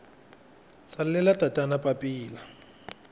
tsalela tatana papila